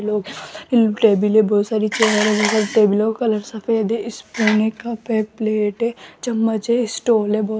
लोग इन टेबलें बहोत सारी चेयर है इन टेबलों का कलर सफेद है स्पून का ऊपर प्लेट है चम्मच है स्टूले बहोत --